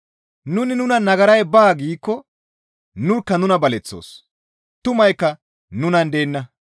Nuni nunan nagaray baa giikko nurkka nuna baleththoos; tumaykka nunan deenna.